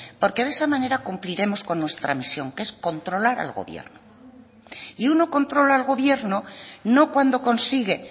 porque de esa manera cumpliremos con nuestra misión que es controlar al gobierno y uno controla al gobierno no cuando consigue